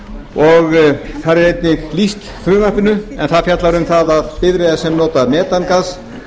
og þar er frumvarpinu einnig lýst en það fjallar um að bifreiðar sem nota metangas